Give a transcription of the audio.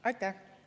Aitäh!